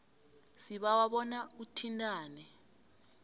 sibawa bona uthintane